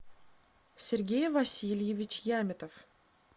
сергей васильевич яметов